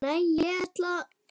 Nei, ég ætla að.